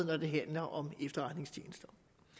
når det handler om efterretningstjenester